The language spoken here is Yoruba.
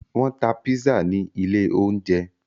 Wọn tá pizza ní ilé oúnjẹ